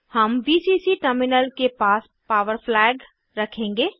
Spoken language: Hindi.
हम वीसीसी टर्मिनल के पास पॉवर फ्लैग रखेंगे